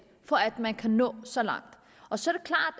for at man kan nå så langt så